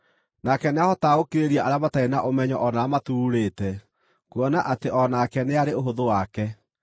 Nake nĩahotaga gũkirĩrĩria arĩa matarĩ na ũmenyo o na arĩa maturuurĩte, kuona atĩ o nake nĩarĩ ũhũthũ wake.